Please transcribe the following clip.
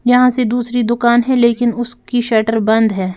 यहां से दूसरी दुकान है लेकिन उसकी शटर बंद है।